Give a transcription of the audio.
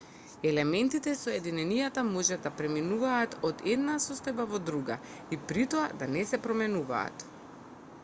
елементите и соединенијата може да преминуваат од една состојба во друга и притоа да не се променуваат